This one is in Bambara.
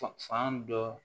Fan dɔ